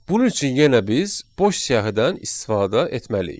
Bunun üçün yenə biz boş siyahıdan istifadə etməliyik.